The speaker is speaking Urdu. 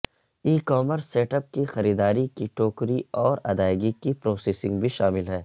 ای کامرس سیٹ اپ کی خریداری کی ٹوکری اور ادائیگی کی پروسیسنگ بھی شامل ہے